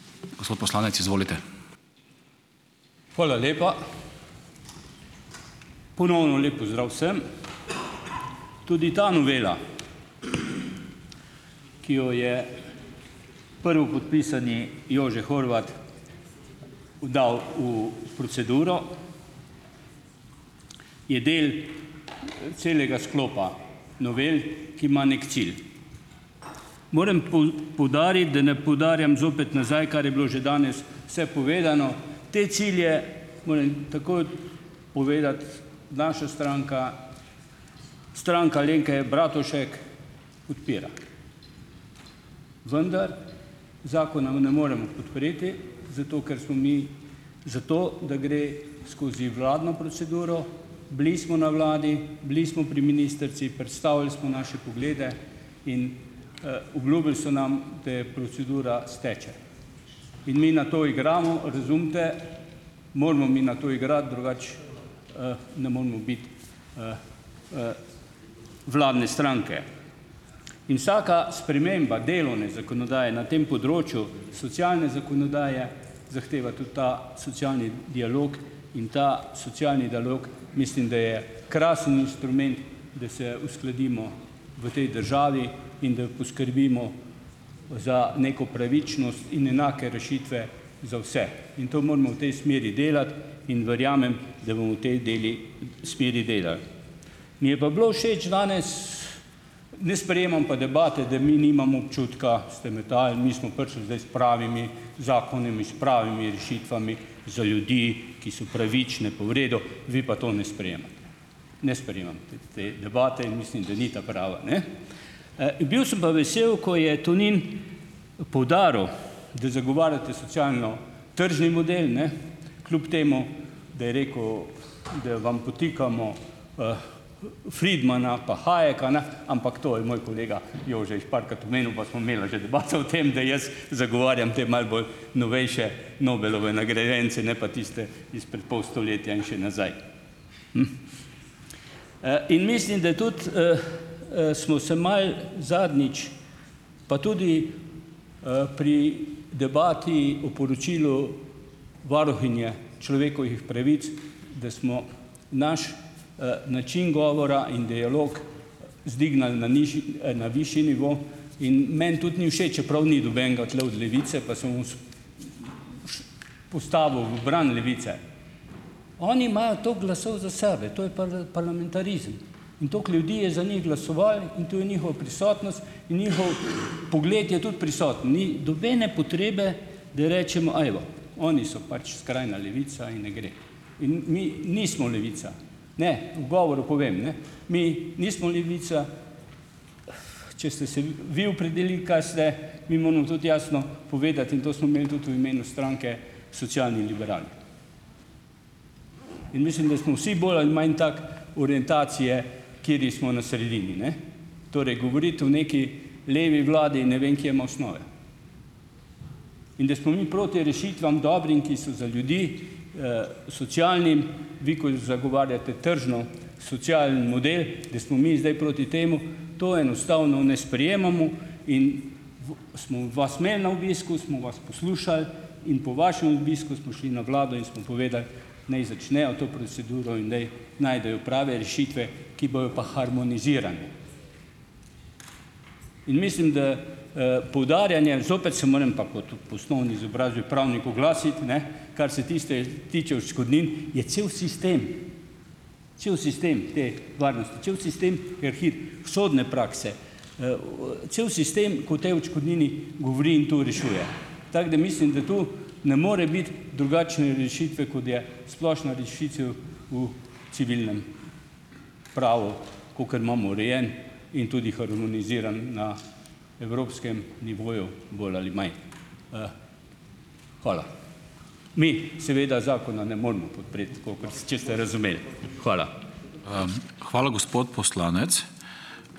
Hvala lepa. Ponovno lep pozdrav vsem. Tudi ta novela, ki jo je prvopodpisani Jože Horvat dal v proceduro, je del celega sklopa novel, ki ima neki cilj. Morem poudariti, da ne poudarjam zopet nazaj, kar je bilo že danes vse povedano, te cilje, moram takoj povedati, naša stranka, Stranka Alenke Bratušek, podpira. Vendar zakona ne moremo podpreti zato, ker smo mi za to, da gre skozi vladno proceduro. Bili smo na vladi, bili smo pri ministrici, predstavili smo naše poglede in, obljubili so nam, da procedura steče. In mi na to igramo, razumite, moramo mi na to igrati, drugače, ne moremo biti vladne stranke. In vsaka sprememba delovne zakonodaje na tem področju, socialne zakonodaje, zahteva tudi ta socialni dialog in ta socialni dialog mislim, da je krasen inštrument, da se uskladimo v tej državi, in da poskrbimo za neko pravičnost in enake rešitve za vse, in to moramo v tej smeri delati in verjamem, da bomo v tej deli smeri delali. Mi je pa bilo všeč danes, ne sprejemam pa debate, da mi nimamo občutka, ste metali, mi smo prišli zdaj s pravimi zakoni, s pravimi rešitvami za ljudi, ki so pravične pa v redu, vi pa to ne sprejemate. Ne sprejemam te te debate in mislim, da ni ta prava, ne. Bil sem pa vesel, ko je Tonin poudaril, da zagovarjate socialno-tržni model, ne, kljub temu, da je rekel, da vam podtikamo, Friedmana pa Hayeka, ne, ampak to je moj kolega Jože jih parkrat omenil pa sva imela že debato o tem, da jaz zagovarjam te malo bolj novejše Nobelove nagrajence, ne pa tiste izpred poll stoletja in še nazaj. In mislim, da tudi, smo se malo zadnjič, pa tudi, pri debati o poročilu varuhinje človekovih pravic, da smo naš, način govora in dialog vzdignili na nižji, na višje nivo in meni tudi ni všeč, čeprav ni nobenega tule od Levice, pa se bom postavil v bran Levice. Oni imajo toliko glasov za sebe. To je parlamentarizem. In toliko ljudi je za njih glasovalo in to je njihova prisotnost in njihov pogled je tudi prisoten, ni nobene potrebe, da rečemo: "Evo, oni so pač skrajna levica in ne gre in mi nismo levica." Ne, v govoru povem, ne, mi nismo levica. Če ste se vi opredelili, kaj ste, mi moramo tudi jasno povedati, in to smo imeli tudi v imenu stranke, socialni liberali. In mislim, da smo vsi bolj ali manj tako, orientacije, kateri smo na sredini, ne. Torej govoriti o neki levi vladi, ne vem, kje ima osnove. In da smo mi proti rešitvam dobrim, ki so za ljudi, socialnim, vi ko zagovarjate tržno-socialni model, da smo mi zdaj proti temu, to enostavno ne sprejemamo, in smo vas imeli na obisku, smo vas poslušali in po vašem obisku smo šli na vlado in smo povedali, naj začnejo to proceduro in naj najdejo prave rešitve, ki bojo pa harmonizirane. In mislim, da, poudarjanje, zopet se moram pa kot po osnovni izobrazbi pravnik, oglasiti, ne, kar se tiste tiče odškodnin, je cel sistem cel sistem te varnosti, cel sistem, sodne prakse, cel sistem, kot o tej odškodnini govori in to rešuje. Tako, da mislim, da tu ne more biti drugačne rešitve, kot je splošna rešitev v civilnem pravu, kakor imamo urejen in tudi harmoniziran na evropskem nivoju bolj ali manj. Hvala. Mi seveda zakona ne moremo podpreti, kakor če ste razumeli. Hvala.